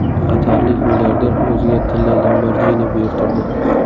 Qatarlik milliarder o‘ziga tilla Lamborghini buyurtirdi.